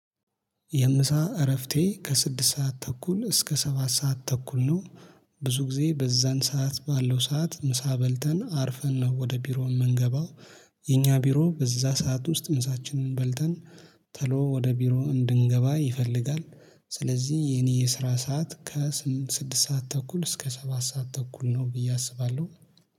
የምሳ እረፍቴ ከስድስት ሰዓት ተኩል እስከ ሰባት ሰዓት ተኩል ነው። ብዙ ጊዜ በዛን ሰዓት ባለው ሰዓት ምሳ በልተን አርፈን ነው ወደ ቢሮው የምንገባው። የኛ ቢሮ በዛ ሰዓት ውስጥ ምሳችንን በልተን ተሎ ወደ ቢሮ እንድንገባ ይፈልጋል። ስለዚህ የኔ የስራ ሰዓት ከስድስት ሰዓት ተኩል እስከ ሰባት ሰዓት ተኩል ነው ብዬ አስባለሁ።